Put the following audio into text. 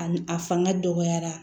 A n a fanga dɔgɔyara